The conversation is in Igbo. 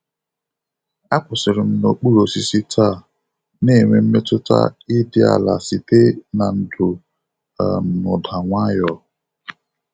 Akwụsịrị m n'okpuru osisi taa, na-enwe mmetụta ịdị ala site na ndò um na ụda nwayọọ.